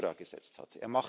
20. Februar gesetzt hat.